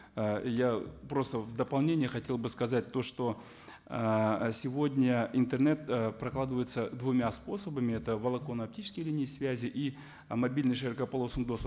ыыы и я просто в дополнение хотел бы сказать то что ыыы сегодня интернет ы прокладывается двумя способами это волоконно оптические линии связи и мобильный широкополосый доступ